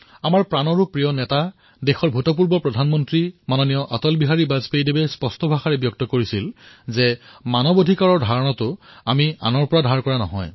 আমাৰ প্ৰাণ প্ৰিয় নেতা আমাৰ দেশৰ প্ৰাক্তন প্ৰধানমন্ত্ৰী শ্ৰীমান অটল বিহাৰী বাজপেয়ীজীয়ে স্পষ্ট ৰূপত কৈছিল যে মানৱ অধিকাৰ আমাৰ বাবে কোনো পৰৰ অৱধাৰণা নহয়